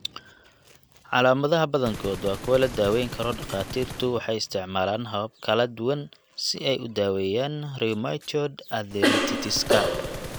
Calaamadaha badankood waa kuwo la daweyn karo Dhakhaatiirtu waxay isticmaalaan habab kala duwan si ay u daweeyaan rheumatoid arthritis-ka.